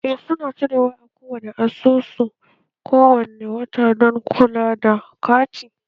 Eh su na cire wa a kowani asusu kowane wata don kula da kati